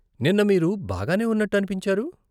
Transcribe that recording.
నిన్న మీరు బాగానే ఉన్నట్టు అనిపించారు.